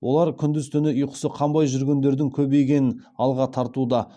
олар күндіз түні ұйқысы қанбай жүргендердің көбейгенін алға тартуда